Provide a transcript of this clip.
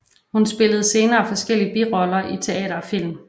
Hun spillede senere forskellige biroller i teater og film